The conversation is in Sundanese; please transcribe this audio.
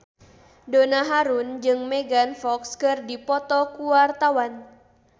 Donna Harun jeung Megan Fox keur dipoto ku wartawan